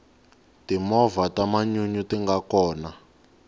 timovha ta manyunyu tinga kona